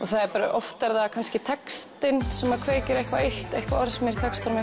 oft er það kannski textinn sem kveikir eitthvað eitt eitthvað orð sem er í textanum